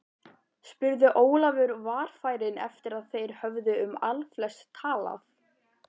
spurði Ólafur varfærinn eftir að þeir höfðu um allflest talað.